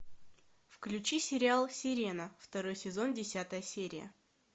включи сериал сирена второй сезон десятая серия